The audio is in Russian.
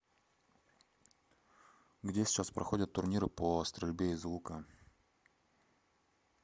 где сейчас проходят турниры по стрельбе из лука